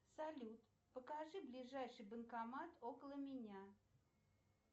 салют покажи ближайший банкомат около меня